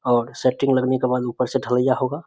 और सेट्रिंग लगने के बाद ऊपर से ढलैया होगा।